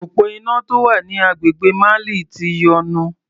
Òpó iná tó wà ní agbègbè Mali ti yọnu.